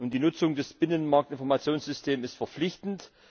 Die Nutzung des Binnenmarkt Informationssystems ist verpflichtend.